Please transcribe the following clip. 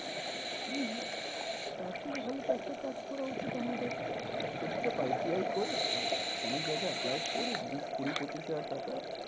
হম তারথেকে ভালো তো একটা কাজ করা উচিত আমাদের। চুপচাপ আই টি আই করে, কোনো জায়গায় apply করে, বিশ কুড়ি পঁচিশ হাজার টাকা